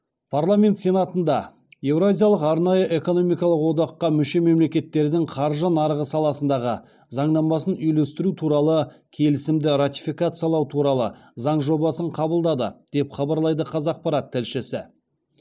парламент сенатында еуразиялық арнайы экономикалық одаққа мүше мемлекеттердің қаржы нарығы саласындағы заңнамасын үйлестіру туралы келісімді ратификациялау туралы заң жобасын қабылдады деп хабарлайды қазақпарат тілшісі